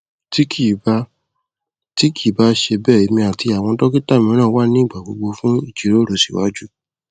ti kii ba ti kii ba ṣe bẹ emi ati awọn dokita miiran wa nigbagbogbo fun ijiroro siwaju